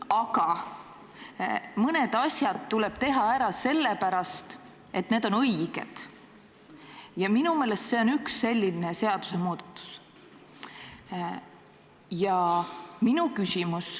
Aga mõned asjad tuleb teha ära sellepärast, et need on õiged, ja minu meelest see on üks selliseid seadusemuudatusi.